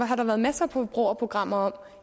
har der været masser af forbrugerprogrammer om